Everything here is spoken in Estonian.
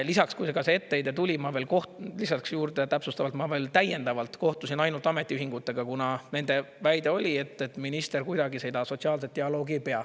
Lisaks, kui see etteheide tuli, ma veel lisaks juurde täpsustavalt, ma veel täiendavalt kohtusin ainult ametiühingutega, kuna nende väide oli, et minister kuidagi seda sotsiaalset dialoogi ei pea.